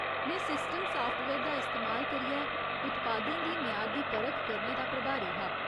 में system software दा इस्तेमाल करियै उत्पादें दी म्यार दी परख करने दा प्रभारी हा।